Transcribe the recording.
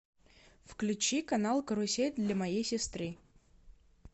включи канал карусель для моей сестры